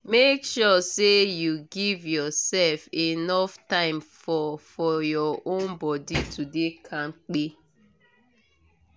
make sure say you give yourself enough time for for your own body to dey kampe